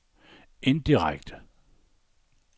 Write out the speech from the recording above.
indirekte